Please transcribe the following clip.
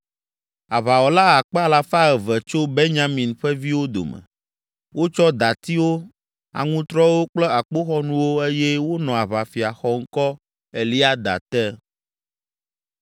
Aʋawɔla akpe alafa eve (200,000) tso Benyamin ƒe viwo dome; wotsɔ datiwo, aŋutrɔwo kple akpoxɔnuwo eye wonɔ aʋafia xɔŋkɔ Eliada te.